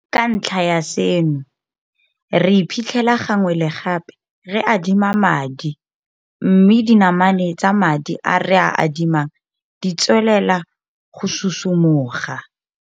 Ka ntlha ya seno, re iphitlhela gangwe le gape re adima madi, mme dinamane tsa madi a re a adimang di tswelela go susu moga.